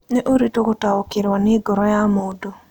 Nĩ ũritũ gũtaũkĩrũo nĩ ngoro ya mũndũ.